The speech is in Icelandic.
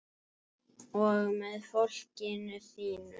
Og með fólkinu þínu.